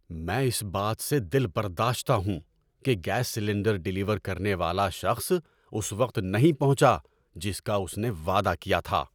میں اس بات سے دلبرداشتہ ہوں کہ گیس سلنڈر ڈیلیور کرنے والا شخص اس وقت نہیں پہنچا جس کا اس نے وعدہ کیا تھا۔